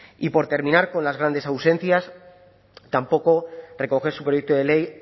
y por terminar con las grandes ausencias tampoco recoge su proyecto de ley